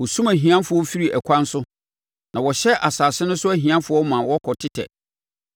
Wɔsum ahiafoɔ firi ɛkwan so na wɔhyɛ asase no so ahiafoɔ ma wɔkɔtetɛ.